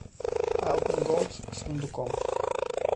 альпен голд с фундуком